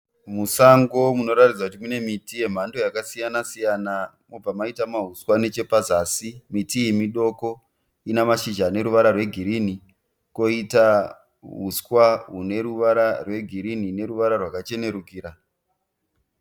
Musango munoratidza kuti mune miti yemhando yakasiyanasiyana, mobva maita mauswa nechepazasi. Miti iyi midoko, ina mashizha ane ruvara rwegirini, kwoita uswa hune ruvara rwegirini neruvara rwakachenerukira.